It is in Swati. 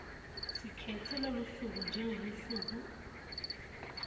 sikhetse lolusuku njengelusuku